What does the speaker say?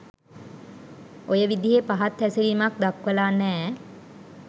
ඔය විදිහෙ පහත් හැසිරීමක් දක්වලා නෑ.